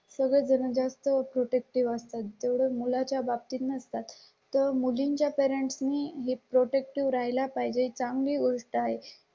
सगळे जण जास्त प्रोटेक्टिव्ह असतात तेवढे मुलांच्या बाबतीत नसतात तर मुलींच्या करंट मीही प्रोटेक्टिव्ह ला पाहिजे. चांगली गोष्ट आहे.